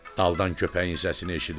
Aldan köpəyin səsini eşidirdim.